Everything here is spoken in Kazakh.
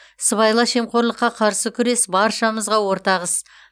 сыбайлас жемқорлыққа қарсы күрес баршамызға ортақ іс